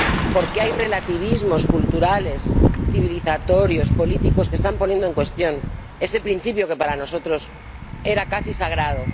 Porque hay relativismos culturales, de civilización, políticos que están poniendo en cuestión ese principio que para nosotros era casi sagrado.